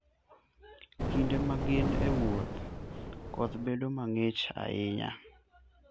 Kinde ma gin e wuoth, koth bedo mang'ich ahinya.